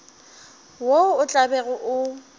wo o tla bego o